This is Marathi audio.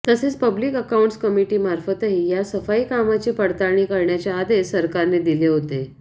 तसेच पब्लिक अकाऊंट्स कमिटीमार्फतही या सफाईकामाची पडताळणी करण्याचे आदेश सरकारने दिले होते